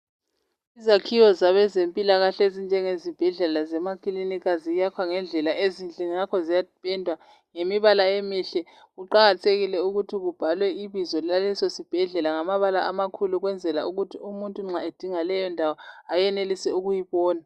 Izakhiwo zabezempilakahle ezinjenge zibhedlela zemakilinika ziyakhwa ngendlela ezinhle ngakho ziyaphendwa ngemibala emihle. Kuqakathekile ukuthi kubhalwe ibizo laleso sibhedlela ngamabala amakhulu ukwenzela ukuthi umuntu nxa edinga leyo ndawo ayenelise ukuyibona.